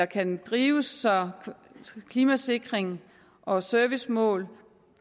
kan drives så klimasikring og servicemål